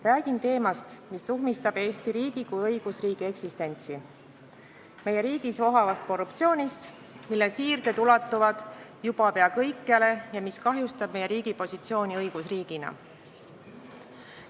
Räägin teemast, mis tuhmistab Eesti kui õigusriigi eksistentsi, räägin meie riigis vohavast korruptsioonist, mille siirded ulatuvad juba pea kõikjale ja mis kahjustab meie riigi positsiooni õigusriigina.